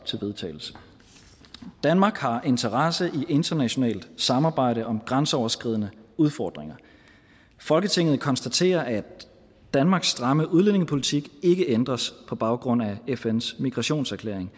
til vedtagelse danmark har interesse i internationalt samarbejde om grænseoverskridende udfordringer folketinget konstaterer at danmarks stramme udlændingepolitik ikke ændres på baggrund af fn’s migrationserklæring